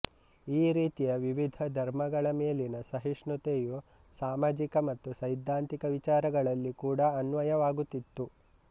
ಈ ರೀತಿಯ ವಿವಿಧ ಧರ್ಮಗಳ ಮೇಲಿನ ಸಹಿಷ್ಣುತೆಯು ಸಾಮಾಜಿಕ ಮತ್ತು ಸೈದ್ಧಾಂತಿಕ ವಿಚಾರಗಳಲ್ಲಿ ಕೂಡಾ ಅನ್ವಯವಾಗುತ್ತಿತ್ತು